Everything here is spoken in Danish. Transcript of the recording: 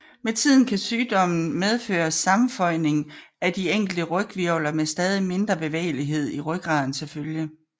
Med tiden kan sygdommen medføre sammenføjning af de enkelte ryghvirvler med stadig mindre bevægelighed i rygraden til følge